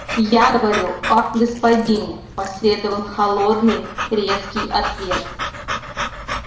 я говорю о господине последовал холодный резкий ответ